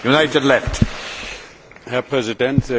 Herr Präsident, sehr geehrter Herr Ratspräsident!